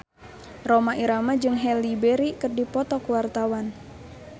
Rhoma Irama jeung Halle Berry keur dipoto ku wartawan